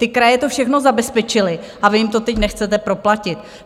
Ty kraje to všechno zabezpečily a vy jim to teď nechcete proplatit.